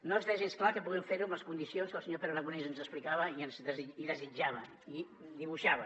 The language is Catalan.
no està gens clar que puguem fer ho amb les condicions que el senyor pere aragonès ens explicava i desitjava i dibuixava